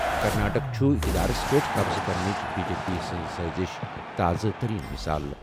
کرناٹک چھُ اِقتِدارس پٮ۪ٹھ قبضہٕ کرنٕچ بی جے پی سٕنٛز سٲزِش تازٕ تٔریٖن مِثال۔